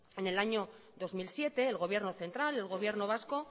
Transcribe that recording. en el año dos mil siete el gobierno central el gobierno vasco